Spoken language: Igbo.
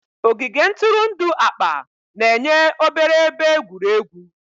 Ogige ntụrụndụ akpa na-enye obere ebe egwuregwu.